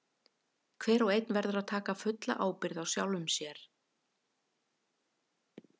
Hver og einn verður að taka fulla ábyrgð á sjálfum sér.